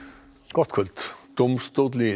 gott kvöld dómstóll í